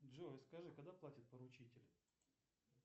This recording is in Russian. джой скажи когда платит поручитель